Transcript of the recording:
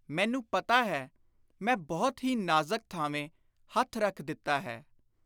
ਮੈਨੂੰ ਪਤਾ ਹੈ, ਮੈਂ ਬਹੁਤ ਹੀ ਨਾਜ਼ਕ ਥਾਵੇਂ ਹੱਥ ਰੱਖ ਦਿੱਤਾ ਹੈ।